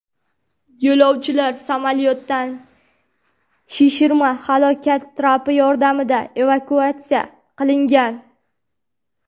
Yo‘lovchilar samolyotdan shishirma halokat trapi yordamida evakuatsiya qilingan.